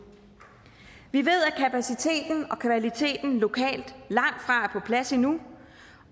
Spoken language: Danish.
vi ved at kapaciteten og kvaliteten lokalt langtfra er på plads endnu